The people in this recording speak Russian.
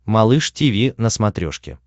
малыш тиви на смотрешке